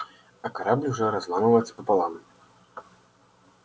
а корабль уже разламывается пополам